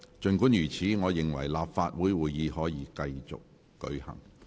儘管如此，我認為立法會會議可以繼續進行。